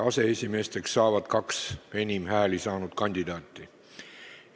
Aseesimeesteks saavad kaks enim hääli saanud kandidaati.